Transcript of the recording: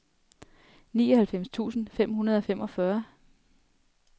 nioghalvfems tusind fem hundrede og femogfyrre